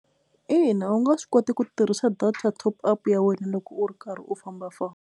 Ina, u nga swi kota ku tirhisa data top up ya wena loko u ri karhi u famba famba.